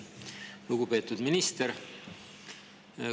Lugupeetud minister!